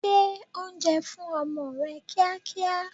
Gbé oúnjẹ fún ọmọ rẹ kíá kíá!